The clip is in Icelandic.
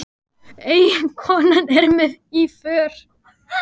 Og eiginkonan er með í för.